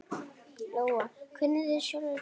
Lóa: Kunnið þið sjálfir táknmál?